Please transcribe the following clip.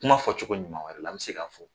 Kuma fɔcogo ɲuman wɛrɛ la an bɛ se k'a fɔ